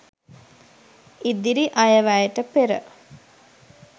ඉදිරි අයවැයට පෙර